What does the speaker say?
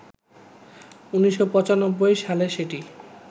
১৯৯৫ সালে সেটি